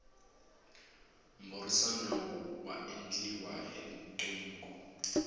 mbhurisano wa endliwa hi rqingho